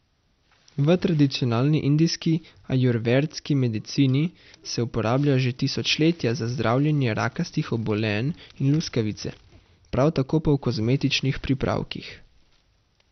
V tradicionalni indijski ajurvedski medicini se uporablja že tisočletja za zdravljenje rakastih obolenj in luskavice, prav tako pa v kozmetičnih pripravkih.